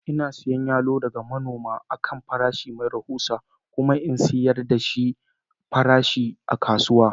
Ina siyan yalo daga manoma da yawa a kan farashi mai rahusa kuma in sayar da farashi a kasuwa